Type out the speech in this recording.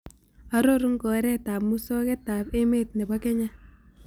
Arorun kooretap musogetap emet nebo kenya